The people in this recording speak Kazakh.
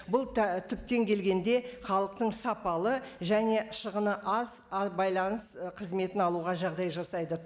бұл түптен келгенде халықтың сапалы және шығыны аз байланыс і қызметін алуға жағдай жасайды